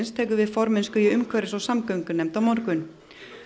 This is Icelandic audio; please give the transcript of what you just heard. tekur við formennsku í umhverfis og samgöngunefnd á morgun